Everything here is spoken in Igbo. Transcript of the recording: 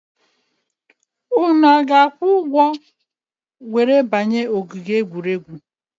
Unu a ga-akwụ ụgwọ banye ogige egwuregwu?